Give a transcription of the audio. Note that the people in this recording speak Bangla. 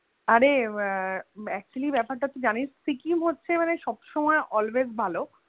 আরে আহ actually ব্যাপার টা তুই জানিস সিকিম হচ্ছে মানে সবসমই always ভালো।